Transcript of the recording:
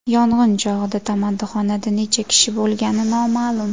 Yong‘in chog‘ida tamaddixonada necha kishi bo‘lgani noma’lum.